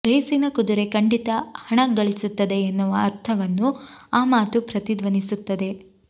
ರೇಸಿನ ಕುದುರೆ ಖಂಡಿತಾ ಹಣ ಗಳಿಸುತ್ತದೆ ಎನ್ನುವ ಅರ್ಥವನ್ನು ಆ ಮಾತು ಪ್ರತಿಧ್ವನಿಸುತ್ತದೆ